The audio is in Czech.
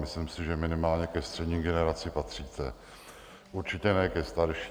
Myslím si, že minimálně ke střední generaci patříte, určitě ne ke starší.